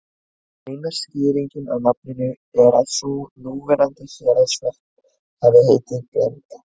Eina skýringin á nafninu er sú að núverandi Héraðsvötn hafi heitið Blanda.